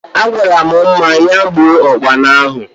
Agwaram Mma ya gbuo Ụkpana ahụ